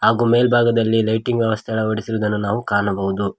ಮೇಲ್ಬಾಗದಲ್ಲಿ ಲೈಟಿಂಗ್ ವ್ಯವಸ್ಥೆಯನ್ನು ಅಳವಡಿಸಿರುವುದನ್ನು ನಾವು ಕಾಣಬಹುದು.